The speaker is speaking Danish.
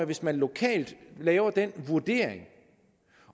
hvis man lokalt laver den vurdering